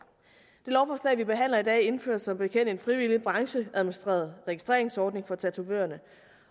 det lovforslag vi behandler i dag indfører som bekendt en frivillig brancheadministreret registreringsordning for tatovørerne